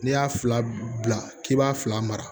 N'i y'a fila bila k'i b'a fila mara